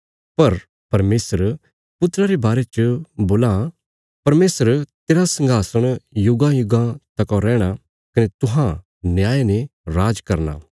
पर परमेशर पुत्रा रे बारे च बोलां परमेशर तेरा संघासण युगांयुगां तकौ रैहणा कने तुहां न्याय ने राज करना